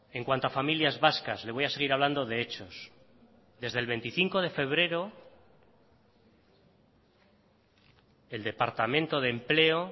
en cuanto a familias vascas le voy a seguir hablando de hechos desde el veinticinco de febrero el departamento de empleo